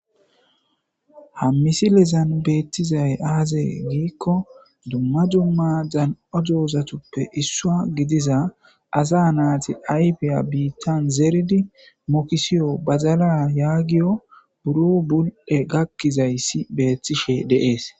Ha misilezan beettizay aazee giikko dumma dumma dan7odoozatuppe issua gidiza asa naati ayfiya biittan zeeridi mokisiyo bazala yaagiyo buro bul7e gakkizayssi beethtishe deees.